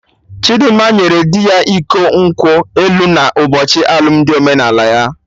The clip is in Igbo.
Chidimma nyere dị ya iko nkwụ elu na ụbochi alụmdi omenala ya